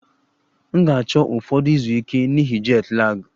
M ga-achọ ụfọdụ izu ike n'ihi jet lag